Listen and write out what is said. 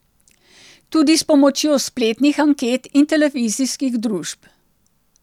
Tudi s pomočjo spletnih anket in televizijskih družb.